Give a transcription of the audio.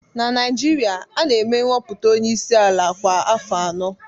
Na Naijiria, a na-eme nhọpụta onye isi ala kwa afọ anọ